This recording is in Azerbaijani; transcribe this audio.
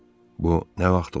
Bu nə vaxt olub?